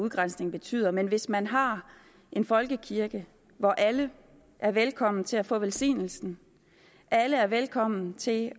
udgrænsning betyder men hvis man har en folkekirke hvor alle er velkomne til at få velsignelsen alle er velkomne til